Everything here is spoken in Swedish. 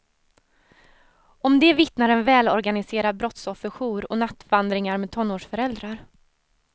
Om det vittnar en välorganiserad brottsofferjour och nattvandringar med tonårsföräldrar.